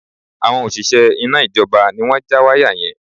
Àwọn òṣìṣẹ́ iná ìjọba ni wọ́n ja wáyà yẹn